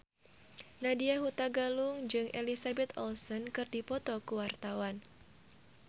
Nadya Hutagalung jeung Elizabeth Olsen keur dipoto ku wartawan